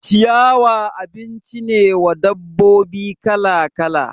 Ciyawa abinci ne wa dabbobi kala kala